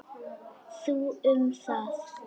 Þú um það.